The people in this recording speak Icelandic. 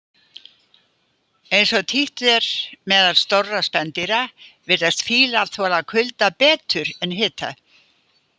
Eins og títt er meðal stórra spendýra, virðast fílar þola kulda betur en hita.